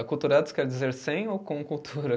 Aculturados quer dizer sem ou com cultura?